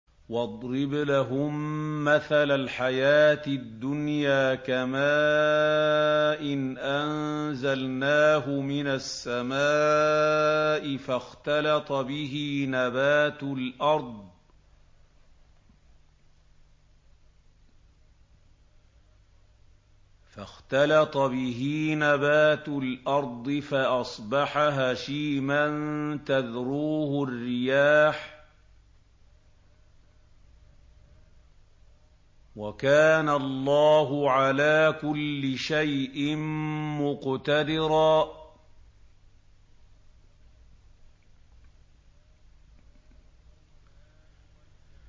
وَاضْرِبْ لَهُم مَّثَلَ الْحَيَاةِ الدُّنْيَا كَمَاءٍ أَنزَلْنَاهُ مِنَ السَّمَاءِ فَاخْتَلَطَ بِهِ نَبَاتُ الْأَرْضِ فَأَصْبَحَ هَشِيمًا تَذْرُوهُ الرِّيَاحُ ۗ وَكَانَ اللَّهُ عَلَىٰ كُلِّ شَيْءٍ مُّقْتَدِرًا